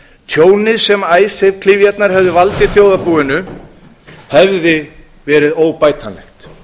tjónið sem icesave klyfjarnar hefðu valdið þjóðarbúinu hefði verið óbætanlegt